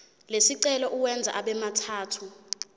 lesicelo uwenze abemathathu